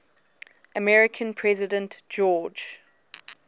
american president george